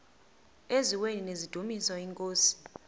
eziaweni nizidumis iinkosi